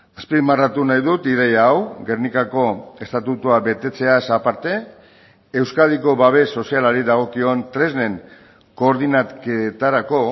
azpimarratu nahi dut ideia hau gernikako estatutua betetzeaz aparte euskadiko babes sozialari dagokion tresnen koordinaketarako